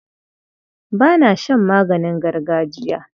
Ba na shan maganin gargajiya.